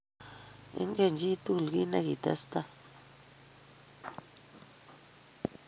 Ingen chii tuguk kiit negitestai